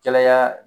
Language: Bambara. Cɛla